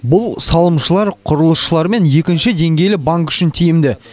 бұл салымшылар құрылысшылар мен екінші деңгейлі банк үшін тиімді